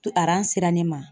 To sera ne ma